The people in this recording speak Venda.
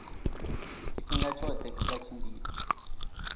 tshifhinga tshoṱhe kha vha tshimbile